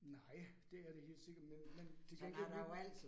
Nej, det er det helt sikkert, men men til gengæld vi